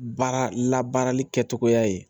Baara labaarali kɛcogoya ye